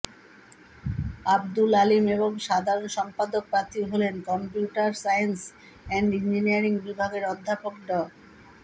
আব্দুল আলীম এবং সাধারণ সম্পাদক প্রার্থী হলেন কম্পিউটার সায়েন্স অ্যান্ড ইঞ্জিনিয়ারিং বিভাগের অধ্যাপক ড